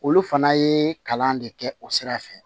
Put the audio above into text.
Olu fana ye kalan de kɛ o sira fɛ